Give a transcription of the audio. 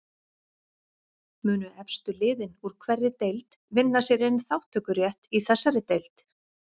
Munu efstu liðin úr hverri deild vinna sér inn þátttökurétt í þessari deild?